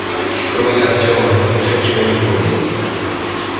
кроме артема никто ничего не помнил